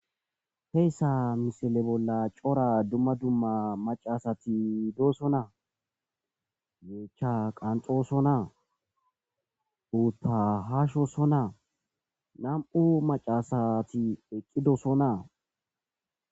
Heysa missile bola c'ora duma duma mac'a asati dosona yecha kanxosona utha hashosona nam'u mac'a asati eqidosona.